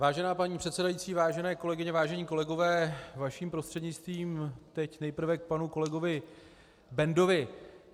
Vážená paní předsedající, vážené kolegyně, vážení kolegové, vaším prostřednictvím teď nejprve k panu kolegovi Bendovi.